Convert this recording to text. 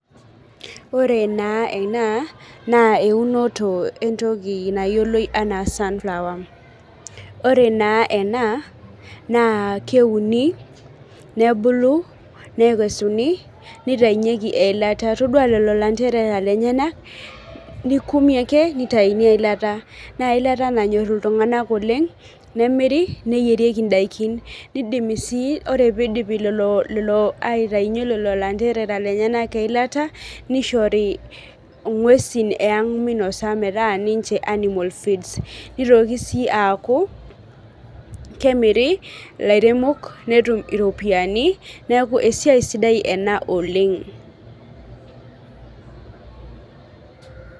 Ore na ena na eunoto entoki nayioloi anaa sunflower ore na ena na keuni nebulu nekesuni nitaunyeki eilata todua lolo anderera lenyenak nikumi ake nitauni eilata na eilata nanyor ltunganak oleng nemiri neinosieki ndakini ore si pidipi aitaunye lolo anderera lenyenak eilata nishori ngwesi minosa metaa ninche animal feeds nitoki si aaku kemiri lairemok netum iropiyani neaku esiai sidai ena oleng.